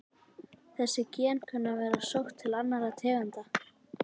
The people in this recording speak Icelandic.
Þessi gen kunna að vera sótt til annarra tegunda.